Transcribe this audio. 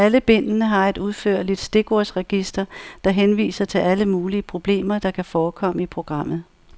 Alle bindene har et udførligt stikordsregister, der henviser til alle mulige problemer, der kan forekomme i programmet.